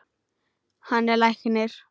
Hann er læknir.